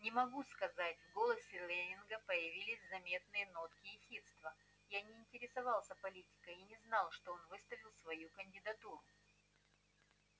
не могу сказать в голосе лэннинга появились заметные нотки ехидства я не интересовался политикой и не знал что он выставил свою кандидатуру